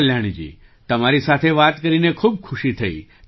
ચાલો કલ્યાણીજીતમારી સાથે વાત કરીને ખૂબ ખુશી થઈ